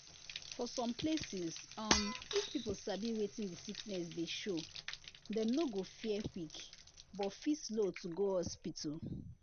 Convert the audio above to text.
for some places um if people sabi wetin the sickness dey show dem no go fear quick but fit slow to go hospital.